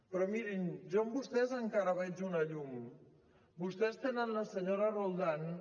però mirin jo en vostès encara veig una llum vostès tenen la senyora roldán